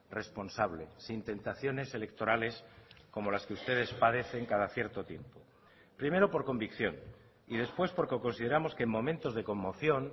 responsable sin tentaciones electorales como las que ustedes padecen cada cierto tiempo primero por convicción y después porque consideramos que en momentos de conmoción